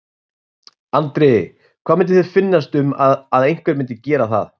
Andri: Hvað myndi þér finnast um að einhver myndi gera það?